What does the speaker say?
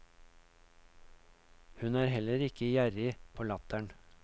Hun er heller ikke gjerrig på latteren.